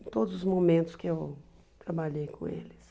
Em todos os momentos que eu trabalhei com eles.